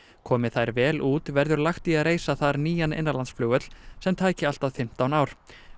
komi þær vel út verður lagt í að reisa þar nýjan innanlandsflugvöll sem tæki allt að fimmtán ár